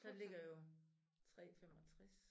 Der ligger jo 3 65